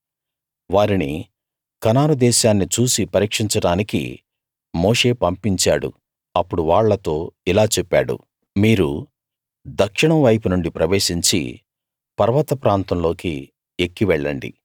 వారిని కనాను దేశాన్ని చూసి పరీక్షించడానికి మోషే పంపించాడు అప్పుడు వాళ్లతో ఇలా చెప్పాడు మీరు దక్షిణం వైపు నుండి ప్రవేశించి పర్వత ప్రాంతంలోకి ఎక్కి వెళ్ళండి